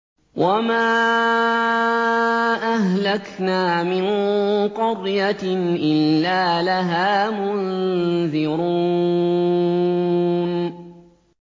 وَمَا أَهْلَكْنَا مِن قَرْيَةٍ إِلَّا لَهَا مُنذِرُونَ